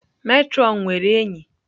Matron nwere enyi.